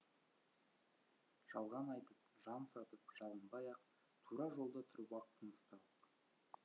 жалған айтып жан сатып жалынбай ақ тура жолда тұрып ақ тынысталық